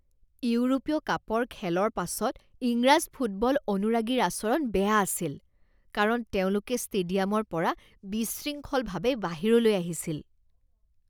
ইউৰোপীয় কাপৰ খেলৰ পাছত ইংৰাজ ফুটবল অনুৰাগীৰ আচৰণ বেয়া আছিল কাৰণ তেওঁলোকে ষ্টেডিয়ামৰ পৰা বিশৃংখলভাৱে বাহিৰলৈ আহিছিল